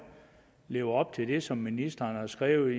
lever op til det som ministeren har skrevet